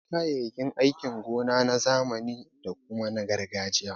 Akwai kayayyakin aikin gona na zamani da kuma na gargajiya.